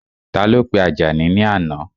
Ta ló pe Àjàní ní àná?